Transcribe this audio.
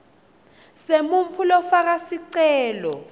semuntfu lofaka sicelo